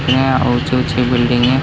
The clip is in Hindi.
यहां ऊँची-ऊँची बिल्डिंग हैं।